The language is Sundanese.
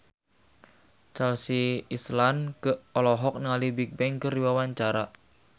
Chelsea Islan olohok ningali Bigbang keur diwawancara